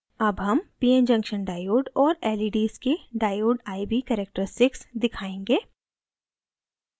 अब हम pn junction diode और leds के diode iv characteristics दिखायेंगे